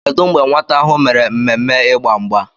Kedu mgbe nwata ahụ mere mmemme Ịgba mgba?